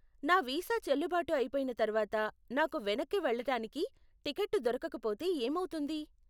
నా వీసా చెల్లుబాటు అయిపొయిన తర్వాత నాకు వెనక్కి వెళ్ళటానికి టికెట్టు దొరకకపోతే ఏమౌతుంది?